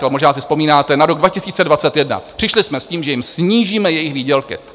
Ale možná si vzpomínáte na rok 2021, přišli jsme s tím, že jim snížíme jejich výdělky.